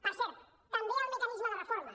per cert també el mecanisme de reforma